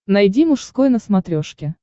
найди мужской на смотрешке